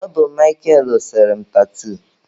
Ọ bụ Mịkel sere m tatuu.